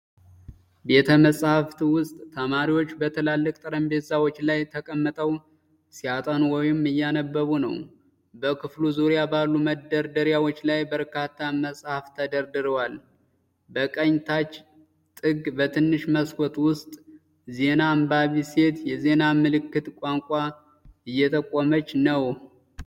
የቤተ-መጽሐፍት ውስጥ፣ ተማሪዎች በትላልቅ ጠረጴዛዎች ላይ ተቀምጠው ሲያጠኑ ወይም እያነበቡ ነው። በክፍሉ ዙሪያ ባሉ መደርደሪያዎች ላይ በርካታ መጽሐፍት ተደርድረዋል። በቀኝ ታች ጥግ፣ በትንሽ መስኮት ውስጥ ዜና አንባቢ ሴት የዜና ምልክት ቋንቋ እየትጠቀመች ነው።